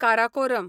Karakoram